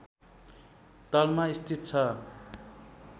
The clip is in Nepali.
तलमा स्थित छ